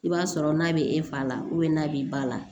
I b'a sɔrɔ n'a bɛ e fa la n'a b'i ba la